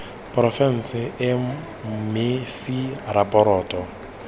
porofense eo mme c ratoropo